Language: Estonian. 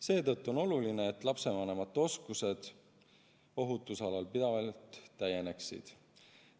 Seetõttu on oluline, et lapsevanemate oskused ohutuse alal pidevalt täieneksid.